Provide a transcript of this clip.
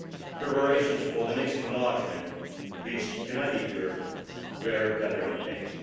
Preparations for the next enlargement which united Europe were gathering pace.